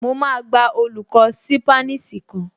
Mo máa gba olùkọ́ ṣípánísì kan